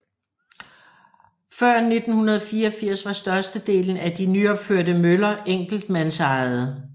Før 1984 var størstedelen af de nyopførte møller enkeltmandsejede